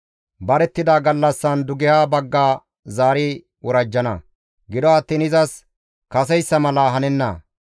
«Barettida gallassan dugeha bagga zaari worajjana; gido attiin izas kaseyssa mala hanenna.